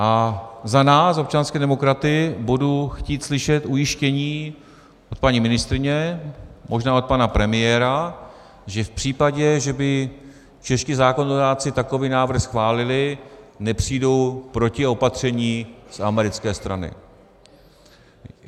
A za nás, občanské demokraty, budu chtít slyšet ujištění od paní ministryně, možná od pana premiéra, že v případě, že by čeští zákonodárci takový návrh schválili, nepřijdou protiopatření z americké strany.